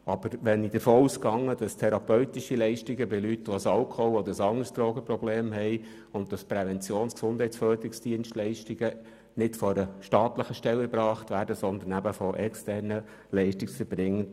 Aber ich gehe davon aus, dass therapeutische Leistungen für Leute, die ein Alkohol- oder ein anderes Drogenproblem haben, sowie Leistungen im Bereich Prävention und Gesundheitsförderung nicht von einer staatlichen Stelle erbracht werden, sondern von externen Leistungserbringen.